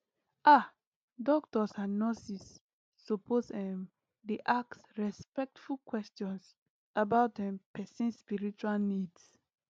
ah doctors and nurses suppose ehm dey ask respectful questions about um person spiritual needs